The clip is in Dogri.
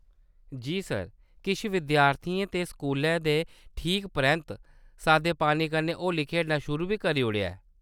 जी सर, किश विद्यार्थियें ते स्कूलै दे ठीक परैंत्त सादे पानी कन्नै होली खेढना शुरू बी करी ओड़ेआ ऐ !